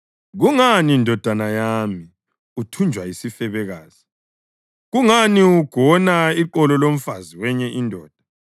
Kungani ndodana yami, uthunjwa yisifebekazi? Kungani ugona iqolo lomfazi wenye indoda?